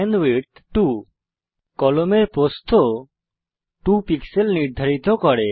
pen width 2 কলমের প্রস্থ 2 pixel নির্ধারিত করে